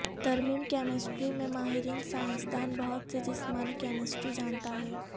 ترمیم کیمسٹری میں ماہرین سائنسدان بہت سے جسمانی کیمسٹری جانتا ہے